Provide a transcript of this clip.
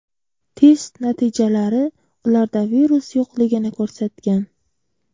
Test natijalari ularda virus yo‘qligini ko‘rsatgan.